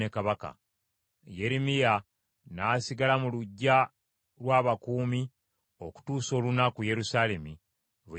Yeremiya n’asigala mu luggya lw’abakuumi okutuusa olunaku Yerusaalemi lwe kyawambibwa. Okugwa kwa Yerusaalemi Yerusaalemi bwe kiti bwe kyawambibwa: